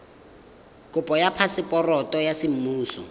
kopo ya phaseporoto ya semmuso